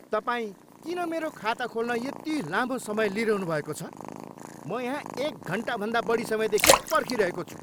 तपाईँ किन मेरो खाता खोल्न यति लामो समय लिइरहनुभएको छ? म यहाँ एक घन्टाभन्दा बढी समयदेखि पर्खिरहेको छु!